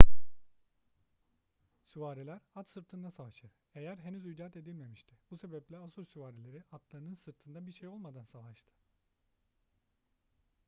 süvariler at sırtında savaşır eyer henüz icat edilmemişti bu sebeple asur süvarileri atlarının sırtında bir şey olmadan savaştı